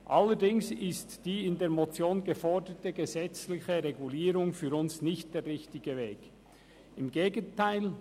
Allerdings ist die in der Motion geforderte gesetzliche Regulierung für uns nicht der richtige Weg, im Gegenteil: